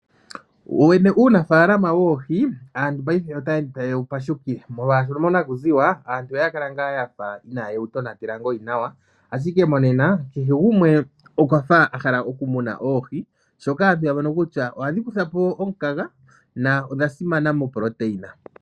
Wowene uunafalama woohi aantu otaya ende tayewu pashukile molwaashono monakuziwa aantu kakwali yewu tonatela nawa. Monena kehe gumwe okwa hala okumuna oohi oshoka oyamono kutya ohadhi kuthapo omukaga nodha simana miitungithilutu.